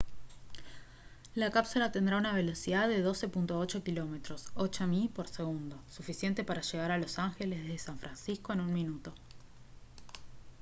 la cápsula tendrá una velocidad de 12,8 km 8 mi por segundo suficiente para llegar a los ángeles desde san francisco en un minuto